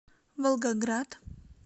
волгоград